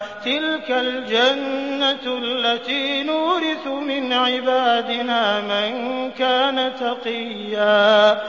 تِلْكَ الْجَنَّةُ الَّتِي نُورِثُ مِنْ عِبَادِنَا مَن كَانَ تَقِيًّا